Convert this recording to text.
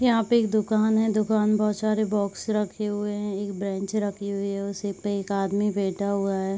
यहाँ पे एक दुकान है। दुकान म् बहोत सारे बॉक्स रखे हुए हैं। एक ब्रेंच रखी हुई है उसी पे एक आदमी बैठा हुआ है।